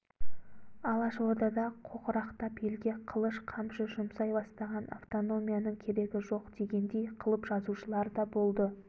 алашорда да қоқырақтап елге қылыш қамшы жұмсай бастаған автономияның керегі жоқ дегендей қылып жазушыларда болды